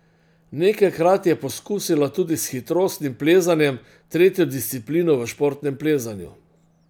Nekajkrat je poskusila tudi s hitrostnim plezanjem, tretjo disciplino v športnem plezanju.